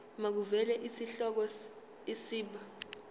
makuvele isihloko isib